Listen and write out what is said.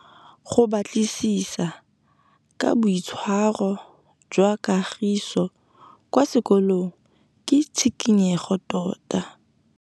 Go batlisisa ka boitshwaro jwa Kagiso kwa sekolong ke tshikinyêgô tota.